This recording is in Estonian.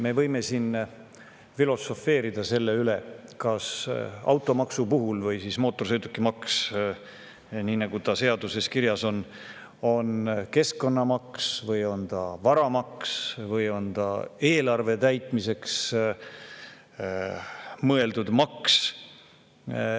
Me võime siin filosofeerida selle üle, kas automaks või mootorsõidukimaks, nii nagu ta seaduses kirjas on, on keskkonnamaks või on ta varamaks või on ta eelarve täitmiseks mõeldud maks.